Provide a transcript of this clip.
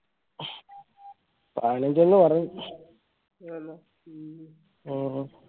പതിനഞ്ചന്ന് പറഞ്ഞു